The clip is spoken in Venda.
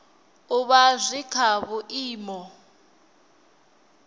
u vha zwi kha vhuimo